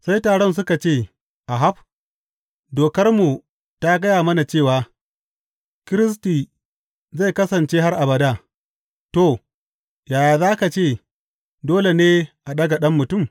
Sai taron suka ce, Ahab, Dokarmu ta gaya mana cewa, Kiristi zai kasance har abada, to, yaya za ka ce, Dole ne a ɗaga Ɗan Mutum?’